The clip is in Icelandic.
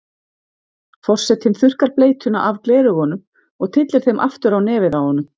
Forsetinn þurrkar bleytuna af gleraugunum og tyllir þeim aftur á nefið á honum.